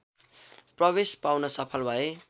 प्रवेश पाउन सफल भए